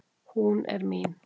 Hún er mín.